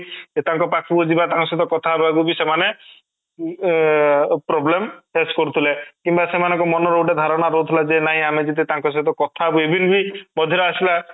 ସେ ତାଙ୍କ ପାଖ କୁ ଯିବା ତାଙ୍କ ସହିତ କଥା ହେବାକୁ ବି ସେମାନେ ଅଂ problem face କରୁଥିଲେ କିମ୍ବା ସେମାନଙ୍କର ମନ ର ଗୋଟେ ଧାରଣା ରହୁଥିଲା ଯେ ନାଇଁ ଆମେ ଯଦି ତାଙ୍କ ସହିତ କଥା ହେବା even ବି ମଝିରେ ଆସିଲା